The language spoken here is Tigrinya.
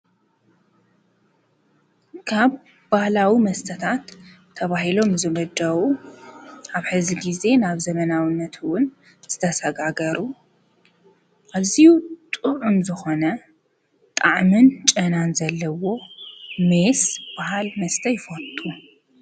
ካብ ባህላዊ መስተታት ተባሂሎም ዝምደቡ ኣብ ሕዚ ግዘ ናብ ዘመናዉነት እዉን ዝተሰጋገሩ ኣዝዩ ጥዑም ዝኾኑ ጣዕምን ጨናን ዘለዎ ሜስ ዝበሃል መስተ ይፈቱ ::